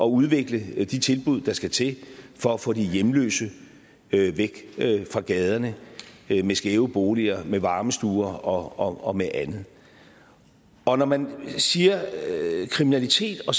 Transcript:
udvikle de tilbud der skal til for at få de hjemløse væk fra gaderne med skæve boliger med varmestuer og med andet når når man siger kriminalitet og